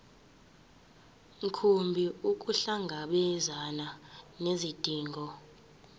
mkhumbi ukuhlangabezana nezidingo